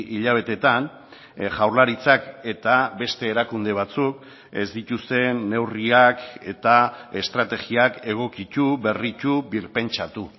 hilabeteetan jaurlaritzak eta beste erakunde batzuk ez dituzten neurriak eta estrategiak egokitu berritu birpentsatu